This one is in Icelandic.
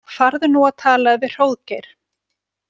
Farðu nú og talaðu við Hróðgeir.